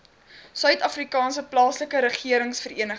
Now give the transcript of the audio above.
suidafrikaanse plaaslike regeringsvereniging